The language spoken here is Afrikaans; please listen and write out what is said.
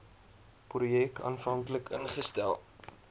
projek aanvanklik ingestel